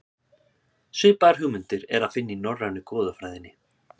Svipaðar hugmyndir er að finna í norrænu goðafræðinni.